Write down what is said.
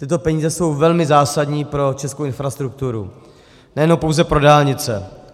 Tyto peníze jsou velmi zásadní pro českou infrastrukturu, nejenom pouze pro dálnice.